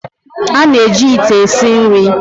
A na-eji ite esi nri.